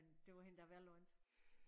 Men det var hende da vel undt